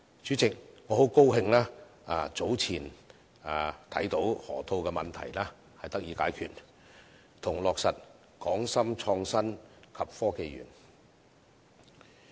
主席，我很高興早前看到河套問題得以解決，以及落實"港深創新及科技園"。